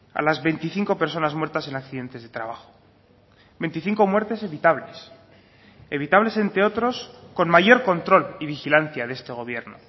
a las veinticinco personas muertas en accidentes de trabajo veinticinco muertes evitables evitables entre otros con mayor control y vigilancia de este gobierno